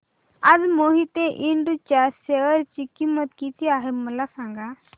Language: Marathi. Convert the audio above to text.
आज मोहिते इंड च्या शेअर ची किंमत किती आहे मला सांगा